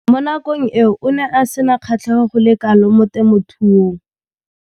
Mo nakong eo o ne a sena kgatlhego go le kalo mo temothuong.